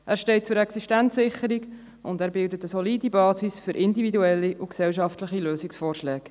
Er steht zur Existenzsicherung und bildet eine solide Basis für individuelle und gesellschaftliche Lösungsvorschläge.